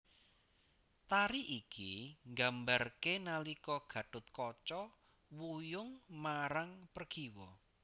Tari iki nggambarké nalika Gathotkaca wuyung marang Pregiwa